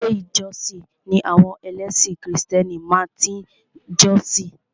Ilé ìjósìn ni àwọn ẹlẹ́sìn krìstẹ́nì máa tí ń jọ́sìn.